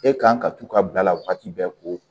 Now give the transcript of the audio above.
E kan ka t'u ka bila la wagati bɛɛ ko